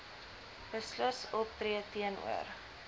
beslis optree teenoor